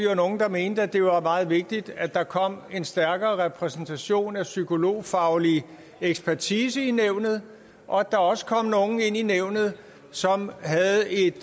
der mente at det var meget vigtigt at der kom en stærkere repræsentation af psykologfaglig ekspertise i nævnet og at der også kom nogle ind i nævnet som havde en